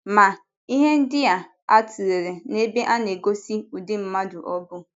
Ma, ihe ndị a tụlere n’ebe a na - egosi ụdị mmadụ ọ bụ.